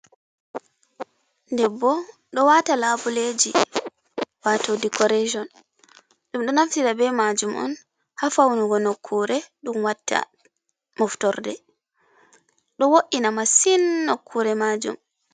Ɗebbo ɗo wata laboleji wato ɗekorason ɗum do naftira be majum on ha faunugo nokkure ɗum watta moftorɗe do wo’ina masin nokkure majum.